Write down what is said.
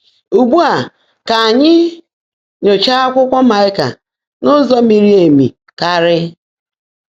Úgbụ́ á, kà ányị́ nyóchaá ákwụ́kwọ́ Máịkà n’ụ́zọ́ míri éméé kárị́.